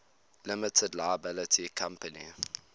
limited liability company